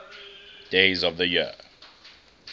days of the year